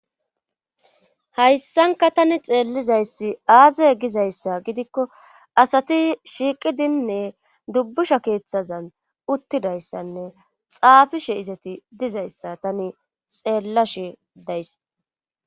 hayssanka tani xeellizayssi aaze gizayssa gidikko asati shiiqidinne dubbusha keeththazan uttidayssanne xaafishe izati dizayssa tani xeellashi dayssa